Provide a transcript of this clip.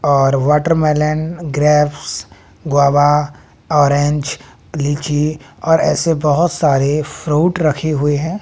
और watermelon grapes guava orange लीची और ऐसे बहोत सारे फ्रुट रखें हुए है।